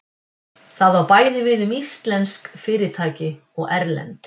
Það á bæði við um íslensk fyrirtæki og erlend.